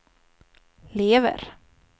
lever